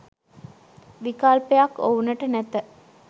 විකල්පයක් ඔවුනට නැත